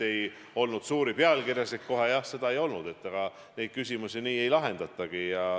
Jah, suuri pealkirjasid kohe tõesti ei olnud, aga neid küsimusi nii ei lahendatagi.